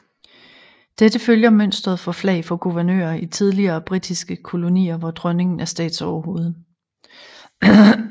Dette følger mønsteret for flag for guvernører i tidligere britiske kolonier hvor Dronningen er statsoverhoved